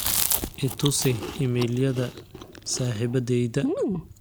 i tusi iimaylyada saxiibadeyda